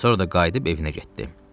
Sonra da qayıdıb evinə getdi.